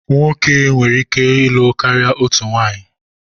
Nwoke nwere ike ịlụ karịa otu nwunye